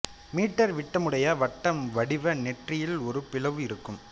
metre விட்டமுடைய வட்ட வடிவு நெற்றியில் ஒரு பிளவு இருக்கும்